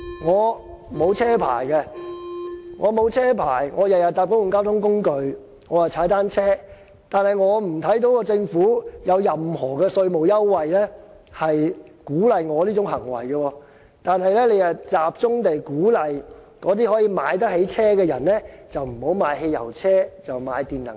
我沒有駕駛執照，以致我每天都乘搭公共交通工具及踏單車，我看不到政府有任何稅務優惠鼓勵我的這種行為，但它卻集中鼓勵可以買得起私家車的人不要買汽油車，而轉買電能車。